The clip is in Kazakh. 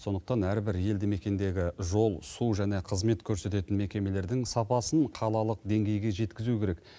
сондықтан әрбір елдімекендегі жол су және қызмет көрсететін мекемелердің сапасын қалалық деңгейге жеткізу керек